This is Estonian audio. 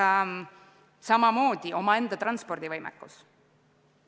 Samamoodi peab olema omaenda transpordivõimekus.